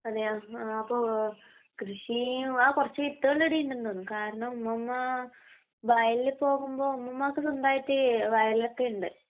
അതെയോ..ആ അപ്പൊ...കൃഷി...ആ കുറച്ച് വിത്തുകളിവിടെ ഉണ്ടെന്ന് തോന്നണു. കാരണം ഉമ്മുമ്മാ വയലില് പോകുമ്പോ...ഉമ്മുമ്മാക്ക് സ്വന്തമായിട്ട് വയലൊക്കെ ഉണ്ട്.